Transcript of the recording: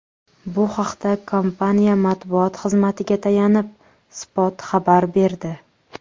Bu haqda kompaniya matbuot xizmatiga tayanib, Spot xabar berdi .